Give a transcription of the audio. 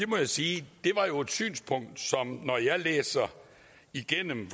må sige at når jeg læser igennem